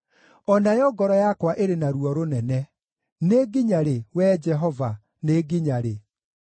O nayo ngoro yakwa ĩrĩ na ruo rũnene. Nĩ nginya rĩ, Wee Jehova, nĩ nginya rĩ?